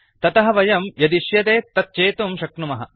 ततः वयं यदिश्यते तत् चेतुं शक्नुमः